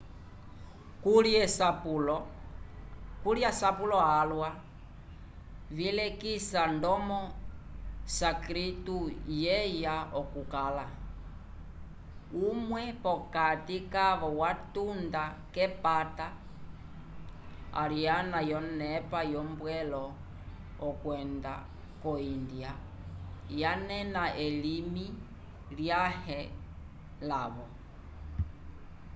kuli asapulo alwa vilekisa ndomo o sânscrito yeya okukala umwe p'okati kavo watunda k'epata ariana yonepa yombwelo okwenda ko índia yanena elimi lyãhe lavo